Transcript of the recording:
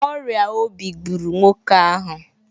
Ọrịa obi gburu nwoke ahụ